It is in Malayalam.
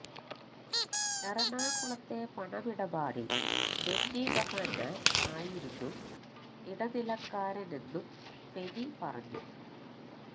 എറണാകുളത്തെ പണമിടപാടില് ബെന്നി ബഹ്നാന് ആയിരുന്നു ഇടനിലക്കാരനെന്നും ഫെനി പറഞ്ഞു